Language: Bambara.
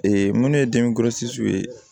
minnu ye ye